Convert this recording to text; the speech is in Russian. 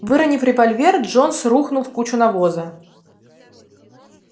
выронив револьвер джонс рухнул в кучу навоза